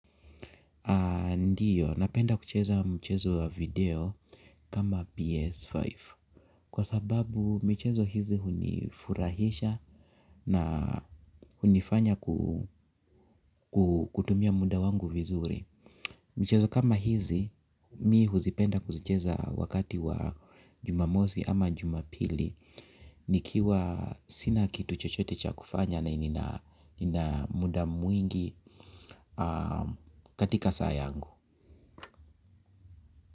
Ndiyo, napenda kucheza mchezo wa video kama PS5 kwa sababu michezo hizi hunifurahisha na hunifanya kutumia muda wangu vizuri. Michezo kama hizi mimi huzipenda kuzicheza wakati wa jumamosi ama jumapili. Nikiwa sina kitu chochote cha kufanya na nina muda mwingi katika saa yangu.